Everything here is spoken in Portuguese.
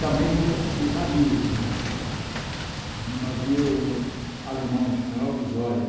também de de navio né, no navio alemão, o General Lusória.